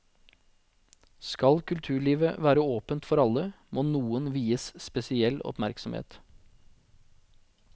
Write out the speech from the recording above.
Skal kulturlivet være åpent for alle, må noen vies spesiell oppmerksomhet.